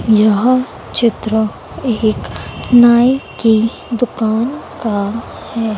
यह चित्र एक नाई की दुकान का है।